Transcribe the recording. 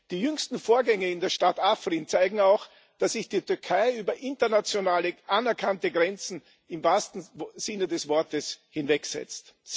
Die jüngsten Vorgänge in der Stadt Afrin zeigen auch, dass sich die Türkei über internationale, anerkannte Grenzen im wahrsten Sinne des Wortes hinwegsetzt.